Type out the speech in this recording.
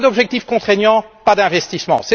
Pas d'objectifs contraignants, pas d'investissements.